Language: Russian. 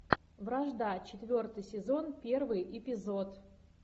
вражда четвертый сезон первый эпизод